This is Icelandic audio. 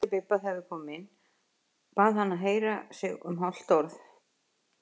Kallaði til Bibba þegar við komum inn, bað hann að heyra sig um hálft orð.